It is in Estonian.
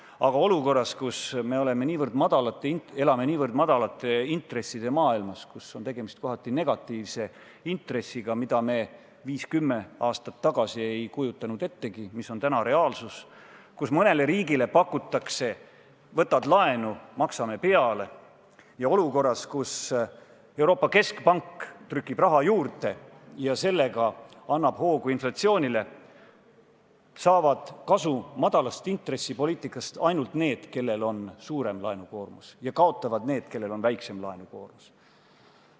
Aga olukorras, kus me elame niivõrd madalate intresside maailmas, kus on tegemist kohati negatiivse intressiga, mida me viis või kümme aastat tagasi ei kujutanud ettegi, mis on täna reaalsus, kus mõnele riigile pakutakse, et kui võtad laenu, maksame peale, ja Euroopa Keskpank trükib raha juurde ja sellega annab hoogu inflatsioonile, saavad kasu madala intressi poliitikast ainult need, kellel on suurem laenukoormus, ja kaotavad need, kellel on väiksem laenukoormus.